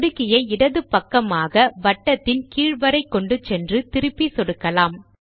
சொடுக்கியை இடது பக்கமாக வட்டத்தின் கீழ் வரை கொண்டு சென்று திருப்பி சொடுக்கலாம்